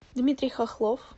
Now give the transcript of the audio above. дмитрий хохлов